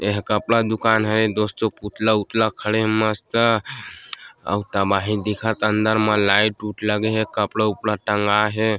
यह कपड़ा दूकान हवे दोस्तों पुतला उत्तला खड़े हे मस्त अउ तबाही दिखत ह अंदर म लाइट ऊट लगे हे कपड़ा उपड़ा टंगा हे।